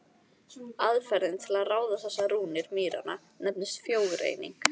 Aðferðin til að ráða þessar rúnir mýranna nefnist frjógreining.